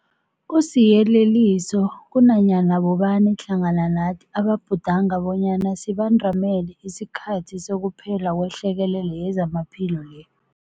Kusiyeleliso kunanyana bobani hlangana nathi ababhudanga bonyana sibandamele isikhathi sokuphela kwehlekelele yezamaphilo le.